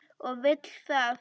Og vill það.